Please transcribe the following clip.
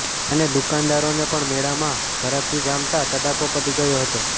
અને દુકાનદારોને પણ મેળામાં ઘરાકી જામતાં તડાકો પડી ગયો હતો